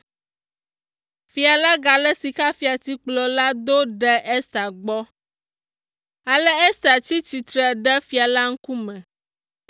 Fia la galé sikafiatikplɔ la do ɖe Ester gbɔ, ale Ester tsi tsitre ɖe fia la ŋkume.